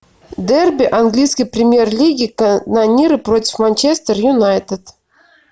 дерби английской премьер лиги канониры против манчестер юнайтед